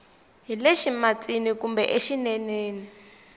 hi le ximatsini kumbe exineneni